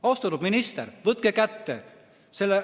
Austatud minister!